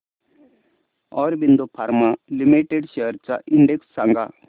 Aurobindo Pharma Limited shares चा index सांगा